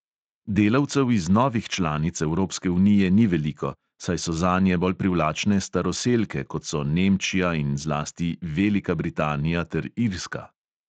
Delavcev iz novih članic evropske unije ni veliko, saj so zanje bolj privlačne staroselke, kot so nemčija in zlasti velika britanija ter irska.